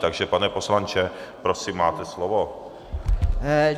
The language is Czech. Takže, pane poslanče, prosím, máte slovo.